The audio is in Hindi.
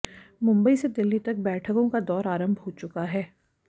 मुंबई से दिल्ली तक बैठकों का दौर आरंभ हो चुका है